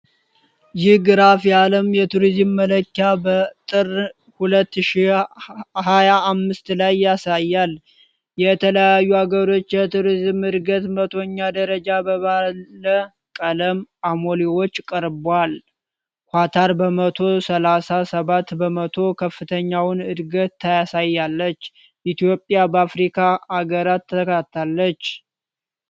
ይህ ግራፍ የአለም የቱሪዝም መለኪያ በጥር ሁለት ሺህ ሃያ አምስት ላይ ያሳያል። የተለያዩ አገሮች የቱሪዝም ዕድገት መቶኛ ደረጃ በባለ ቀለም አሞሌዎች ቀርቧል። ኳታር በመቶ ሰላሳ ሰባት በመቶ ከፍተኛውን እድገት ታሳያለች። ኢትዮጵያ በአፍሪካ አገራት ተካታለች።